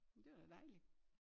Men det var da dejligt